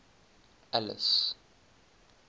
alice